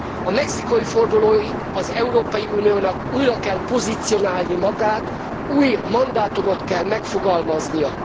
A mexikói fordulóig az Európai Uniónak újra kell pozícionálni magát, új mandátumot kell megfogalmaznia.